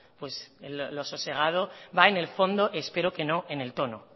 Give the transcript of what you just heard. lo sosegado va en el fondo espero que no en el tono